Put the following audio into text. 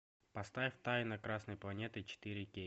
поставь тайна красной планеты четыре кей